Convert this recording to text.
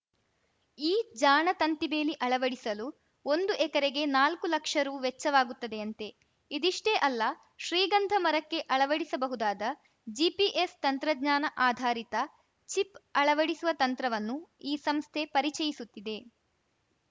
ಈ ಜಾಣ ತಂತಿಬೇಲಿ ಅಳವಡಿಸಲು ಒಂದು ಎಕರೆಗೆ ನಾಲ್ಕು ಲಕ್ಷ ರು ವೆಚ್ಚವಾಗುತ್ತದೆಯಂತೆ ಇದಿಷ್ಟೇ ಅಲ್ಲ ಶ್ರೀಗಂಧ ಮರಕ್ಕೆ ಅಳವಡಿಸಬಹುದಾದ ಜಿಪಿಎಸ್‌ ತಂತ್ರಜ್ಞಾನ ಆಧಾರಿತ ಚಿಪ್‌ ಅಳವಡಿಸುವ ತಂತ್ರವನ್ನು ಈ ಸಂಸ್ಥೆ ಪರಿಚಯಿಸುತ್ತಿದೆ